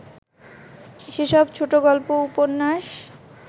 সেসব ছোটগল্প ও উপন্যাস